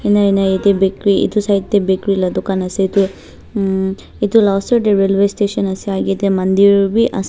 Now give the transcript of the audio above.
nai nai itey bakery itu side tey bakery la dukan ase itu mm itu la osor tey railway station ase agey tey mandir wi as--